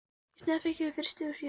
Í staðinn fékk ég frystihús í Höfnum.